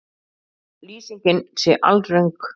Lýsingin sé alröng